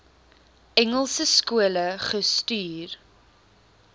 engelse skole gestuur